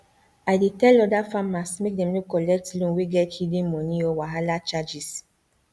i dey tell other farmers make dem no collect loan wey get hidden money or wahala charges